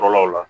Kɔrɔlaw la